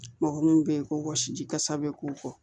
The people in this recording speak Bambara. Mɔgɔ mun bɛ ye ko wɔsiji kasa bɛ k'o kɔ